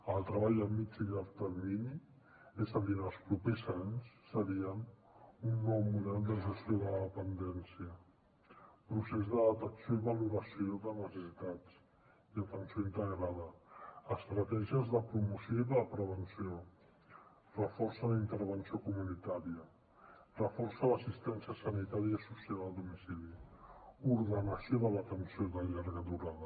el treball a mitjà i llarg termini és a dir en els propers anys seria un nou model de gestió de la dependència procés de detecció i valoració de necessitats i atenció integrada estratègies de promoció i de prevenció reforç en la intervenció comunitària reforç a l’assistència sanitària i social al domicili ordenació de l’atenció de llarga durada